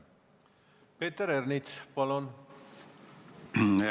Peeter Ernits, palun!